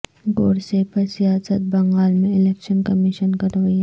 گوڈسے پر سیاست بنگال میں الیکشن کمیشن کا رویہ